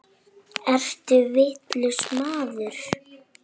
Ertu vitlaus maður?